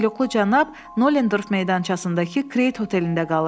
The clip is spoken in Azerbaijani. Katoluqlu cənab Nolen Dorf meydançasıdakı Krate otelində qalır.